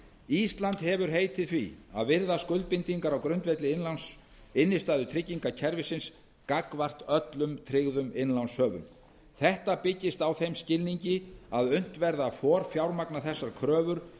ísland hefur heitið því að virða skuldbindingar á grundvelli innstæðutryggingakerfisins gagnvart öllum tryggðum innlánshöfum þetta byggist á þeim skilningi að unnt verði að forfjármagna þessar kröfur